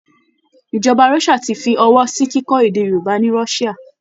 Ìjọba Russia ti fi ọwọ́ sí kíkọ́ èdè Yorùbá ni Russia